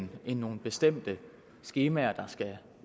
det er nogle bestemte skemaer der skal